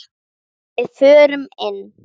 Við förum inn!